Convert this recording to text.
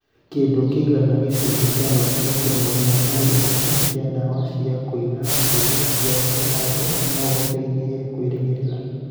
Kĩndũ kĩigana ta gĩcunjĩ kĩa noti gaturumo ĩmwe harĩ igana kĩa ndawa cia kũniina ngigĩ cia gĩcango no gĩtũteithie kwĩgirĩrĩria